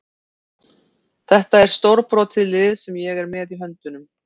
Þetta er stórbrotið lið sem ég er með í höndunum.